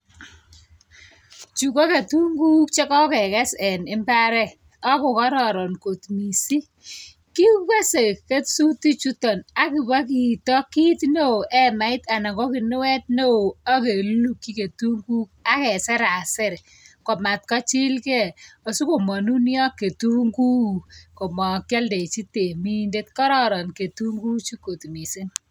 Chu ko katunguuk chukokekes en mbaret. akokororon kot miising' kikese kesuutik chutok akibwa kiiito kiit neeo, hemait anan ko kinwet neoo akelulukchi tukuk akeseraser komatkochilgei asikomanunio ketunguuk komakialdechi temindet kororon ketunguuchu kot miising'